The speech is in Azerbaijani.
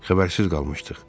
Xəbərsiz qalmışdıq.